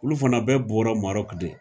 Olu fana bɛ bɔra Marɔki de.